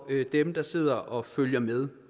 dem der sidder og følger med